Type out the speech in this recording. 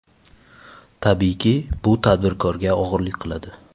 Tabiiyki, bu tadbirkorga og‘irlik qiladi.